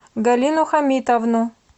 галину хамитовну